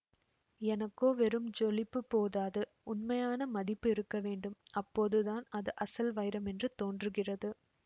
எனக்கோ வெறும் ஜொலிப்பு போதாது உண்மையான மதிப்பு இருக்கவேண்டும் அப்போது தான் அது அசல் வைரம் என்று தோன்றுகிறது